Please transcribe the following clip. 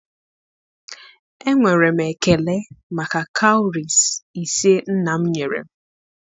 enwere m ekele maka cowries ise nna m nyere m.